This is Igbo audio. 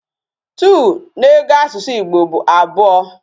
Two na ego na asusu Igbo bu abuo